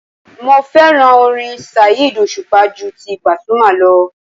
Mo fẹ́ràn orin Saheed òṣùpá ju ti Pasuma lọ